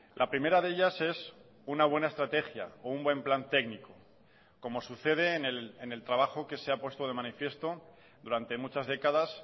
la primera de ellas es una buena estrategia o un buen plan técnico como sucede en el trabajo que se ha puesto de manifiesto durante muchas décadas